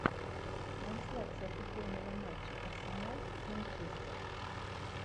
трансляция футбольного матча арсенал манчестер